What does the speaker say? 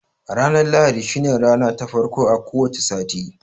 Ranar lahadi shi ne rana ta farko a ko wace sati